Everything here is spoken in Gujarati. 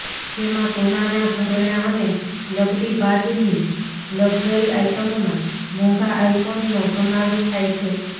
જેમાં સોનાના ઘરેણાં અને લગડી બાદની લકઝરી આઈટમમાં મોંઘા આઈફોનનો સમાવેશ થાય છે